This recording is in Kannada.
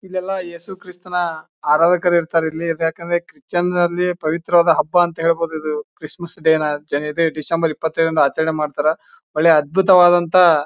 ಇಲ್ಲೆಲ್ಲಾ ಯೇಸುಕ್ರಿಸ್ತನ ಆರಾಧಕರು ಇರ್ತಾರೆ ಇಲ್ಲಿ ಯಾಕೆಂದ್ರೆ ಕ್ರಿಚನಲ್ಲಿ ಪವಿತ್ರವಾದ ಹಬ್ಬ ಅಂತ ಹೇಳ್ಬಹುದು. ಇದು ಕ್ರಿಸ್ಮಸ್ ಡೇ ನ ಡಿಸೆಂಬರ್ ಇಪ್ಪತೈದು ರಂದು ಆಚರಣೆ ಮಾಡ್ತಾರಾ ಒಳ್ಳೆ ಅದ್ಬುತವಾದಂತಹ--